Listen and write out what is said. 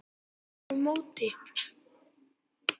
Kallar á móti.